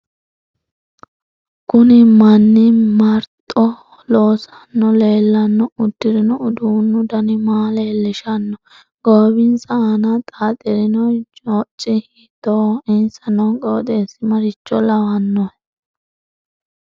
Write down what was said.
Kuni manni maroxho loosano leelanno udirino uduunu dani maa leeloshanno goowinsa aana xaaxirino jocci hiitooho insa noo qooxeesi maricho lawannohe